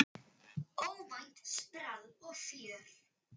Óvænt sprell og fjör.